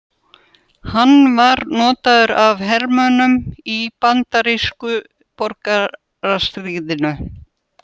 Hann var notaður af hermönnum í bandarísku borgarastríðinu.